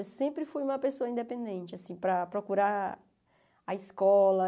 Eu sempre fui uma pessoa independente, assim, para procurar a escola.